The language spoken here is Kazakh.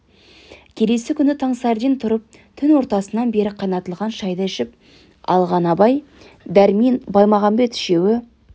келесі күні таң сәріден тұрып түн ортасынан бері қайнатылған шайды ішіп алған абай дәрмен баймағамбет үшеуі